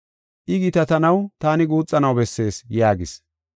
I gitatanaw taani guuxanaw bessees” yaagis.